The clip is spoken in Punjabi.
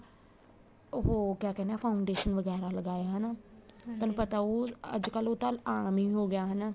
ਉਹ ਕਿਆ ਕਹਿਣੇ ਹਾਂ foundation ਵਗੈਰਾ ਲਗਾਇਆ ਹਨਾ ਤੁਹਾਨੂੰ ਪਤਾ ਹਉ ਅੱਜਕਲ ਉਹ ਤਾਂ ਆਮ ਹੀ ਹੋ ਗਿਆ ਹਨਾ